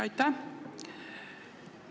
Aitäh!